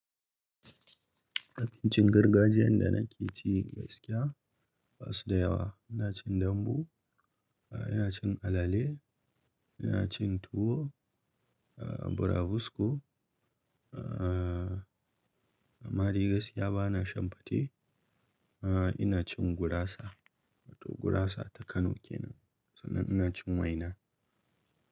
Abincin gargajiyan da nake ci gaskiya ba su da yawa. Ina cin dambu, ina cin alale, ina cin tuwo, burabusko, amma dai gaskiya bana shan fate. Ina cin gurasa wato gurasa ta Kano kenan, sannan ina cin waina.